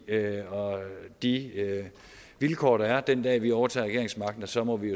og de vilkår der er den dag hvor vi overtager regeringsmagten og så må vi